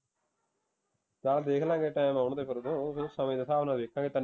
ਚੱਲ ਦੇਖ ਲਾਂਗੇ time ਆਉਣ ਦੇ ਫਿਰ ਉਦੋਂ ਸਮੇਂ ਦੇ ਹਿਸਾਬ ਨਾਲ ਵੇਖਾਂਗੇ